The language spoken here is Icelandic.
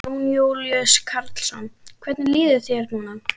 Jón Júlíus Karlsson: Hvernig líður þér núna?